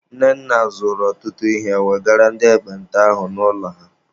Nnenna zụrụ ọtụtụ ihe wegara ndị ekpenta ahụ n'ụlọ ha.